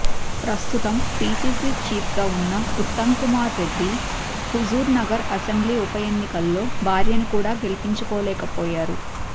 ప్రస్తుతం పీసీసీ చీఫ్గా ఉన్న ఉత్తమ్కుమార్ రెడ్డి హుజూర్నగర్ అసెంబ్లీ ఉప ఎన్నికల్లో భార్యను కూడా గెలిపించుకోలేకపోయారు